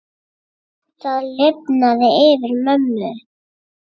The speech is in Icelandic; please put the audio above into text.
Það lifnaði yfir mömmu.